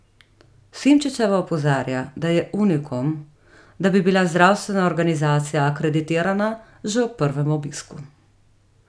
Simčičeva opozarja, da je unikum, da bi bila zdravstvena organizacija akreditirana že ob prvem obisku.